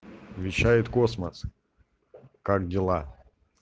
вещает космос как дела